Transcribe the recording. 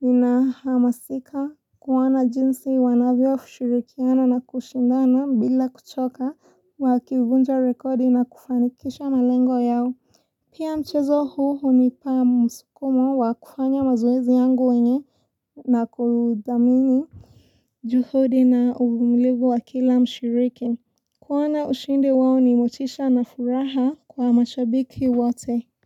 ninahamasika kuona jinsi wanavyoshirikiana na kushindana bila kuchoka, wakivunja rekodi na kufanikisha malengo yao. Pia mchezo huu hunipa msukumo wa kufanya mazoezi yangu wenye na kuudhamini. Juhudi na uvumilivu wa kila mshiriki. Kuona ushindi wao ni motisha na furaha kwa mashabiki wote.